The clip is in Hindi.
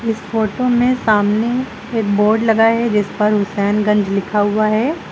इस फोटो में सामने एक बोर्ड लगा है जिस पर हुसैनगंज लिखा हुआ है।